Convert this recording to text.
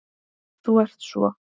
Þú ert svo.